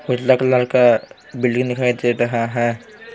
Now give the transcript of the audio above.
उजला कलर का बिल्डिंग .]